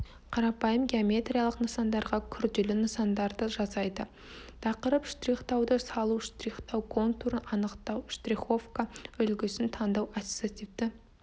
қарапайым геометриялық нысандарға күрделі нысандарды жасайды тақырып штрихтауды салу штрихтау контурын анықтау штриховка үлгісін таңдау ассоциативті